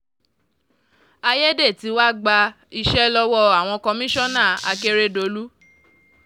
àyédètiwa gba iṣẹ́ lọ́wọ́ àwọn kọmíṣánná àkèrèdọ́lù